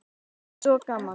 Mér finnst svo gaman!